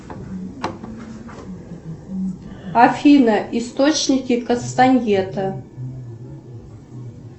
афина источники кастаньета